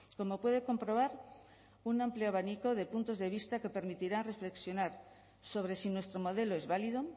como puede comprobar un amplio abanico de puntos de vista que permitirá reflexionar sobre si nuestro modelo es válido